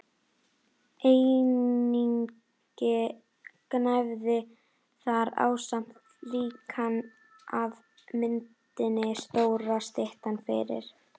Einnig gnæfði þar ásamt líkani af myndinni stóra styttan fyrir